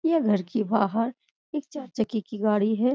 यह घर के बाहर एक चार चक्के की गाड़ी है।